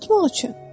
Unutmaq üçün.